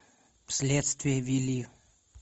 следствие вели